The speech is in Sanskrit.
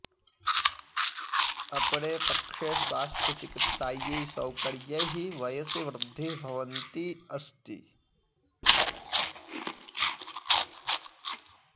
अपरे पक्षे स्वास्थ्यचिकित्सायै सौकर्यैः वयसि वृद्धिः भवन्ती अस्ति